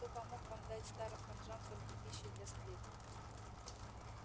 кто помог вам дать старым ханжам столько пищи для сплетен